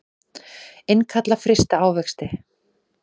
Innkalla frysta ávexti